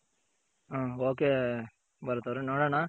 ಹ್ಮ್ okay Bharat ಅವ್ರೆ ನೋಡೋಣ